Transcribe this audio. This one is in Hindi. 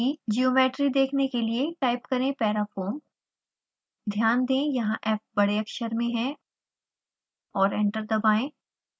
ज्योमेट्री देखने के लिए टाइप करें parafoam ध्यान दें यहाँ f बड़े अक्षर में है और एंटर दबाएं